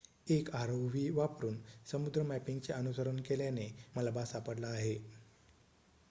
एक rov वापरून समुद्री मॅपिंगचे अनुसरण केल्याने मलबा सापडला आहे